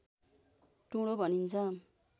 टुँडो भनिन्छ